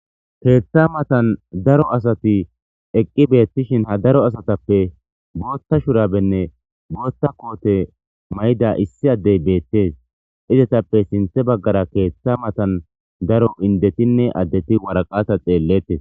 keeththa matan daro asati eqqi beettishin ha daro asatappe booththa shurabenne booththa koote mayida issi addey beettes; izetappe sinththe baggara keeththa matan daro indetinne addeti waraqata xeelletes.